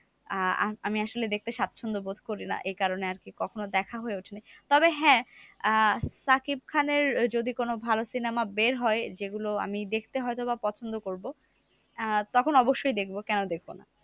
আহ আমি আমি আসলে দেখতে স্বচ্ছন্দ বোধ করিনা। এই কারণে আরকি কখনো দেখা হয়ে ওঠেনি। তবে হ্যাঁ আহ সাকিব খানের যদি কোনো ভালো cinema বের হয়, যেগুলো আমি দেখতে হয়তোবা পছন্দ করবো। আহ তখন অবশ্যই দেখবো। কেন দেখবো না?